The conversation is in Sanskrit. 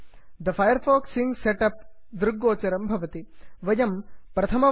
the Firefox sync setup the Firefox sync setup दृग्गोचरं भवति